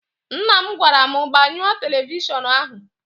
Nna m gwara m, gbanyụọ televishọnụ ahụ!